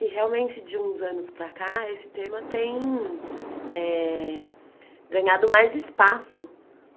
E realmente, de uns anos para cá, esse tema tem eh ganhado mais espaço.